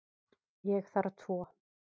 Ég þarf tvo.